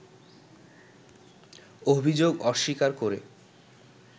অভিযোগ অস্বীকার করে